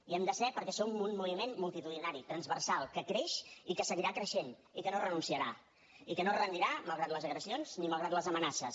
hi hem de ser perquè som un moviment multitudinari transversal que creix i que seguirà creixent i que no renunciarà i que no es rendirà malgrat les agressions i malgrat les amenaces